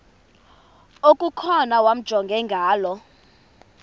okukhona wamjongay ngaloo